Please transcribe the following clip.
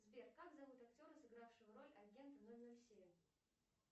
сбер как зовут актера сыгравшего роль агента ноль ноль семь